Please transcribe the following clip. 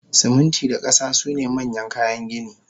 Siminti da kasa sune manyan kayan gini